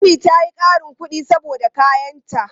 Ummi ta yi ƙarin kuɗi saboda kayanta.